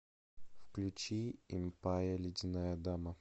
включи импая ледяная дама